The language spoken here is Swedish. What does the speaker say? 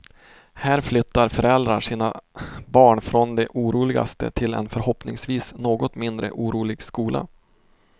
Här flyttar föräldrar sina barn från den oroligaste till en förhoppningsvis något mindre orolig skola.